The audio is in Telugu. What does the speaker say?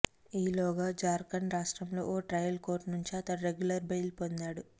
ఈలోగా జార్ఖండ్ రాష్ట్రంలోని ఓ ట్రయల్ కోర్టు నుంచి అతడు రెగ్యులర్ బెయిల్ పొందాడు